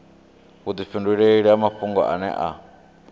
vhudifhinduleli ha mafhungo ane a